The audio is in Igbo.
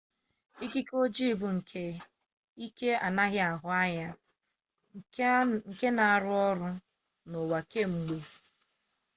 ikike ojii bụ ike anaghị ahụ anya nke na-arụ ọrụ n'ụwa kwa mgbe